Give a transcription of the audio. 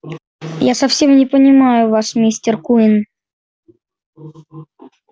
я совсем не понимаю вас мистер куинн